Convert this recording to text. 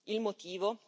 Il motivo?